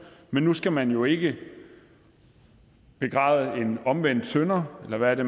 men nu skal man jo ikke begræde en omvendt synder eller hvad det